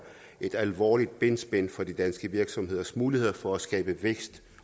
et alvorligt benspænd for de danske virksomheders muligheder for at skabe vækst